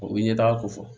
O bɛ ɲɛtaga ko fɔ